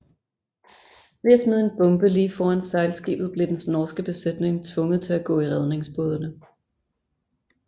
Ved at smide en bombe lige foran sejlskibet blev dens norske besætning tvunget til at gå i redningsbådene